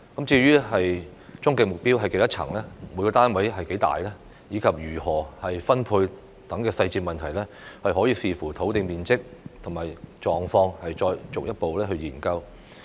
至於終極目標是多少層、每個單位面積多大，以及如何分配等細節問題，可以視乎土地面積及狀況再進一步研究。